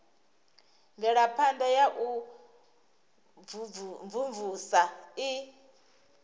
mvelaphana ya u imvumvusa i